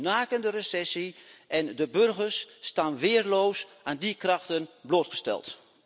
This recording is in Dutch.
Er is een nakende recessie en de burgers staan weerloos aan die krachten blootgesteld.